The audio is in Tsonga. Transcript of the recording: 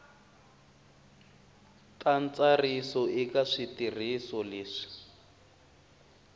ta ntsariso eka switirhiso leswi